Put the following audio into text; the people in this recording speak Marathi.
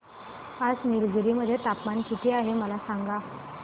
आज निलगिरी मध्ये तापमान किती आहे मला सांगा